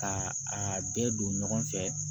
Ka a bɛɛ don ɲɔgɔn fɛ